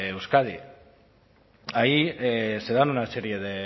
euskadi ahí se dan una serie de